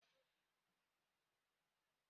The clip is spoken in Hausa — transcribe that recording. Kano line shi ne sunan motocin sufuri na Kano.